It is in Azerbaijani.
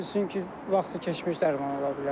Ola bilsin ki, vaxtı keçmiş dərman ola bilər.